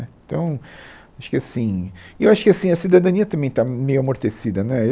né, então, acho que assim, E eu acho que assim, a cidadania também está meio amortecida, né eu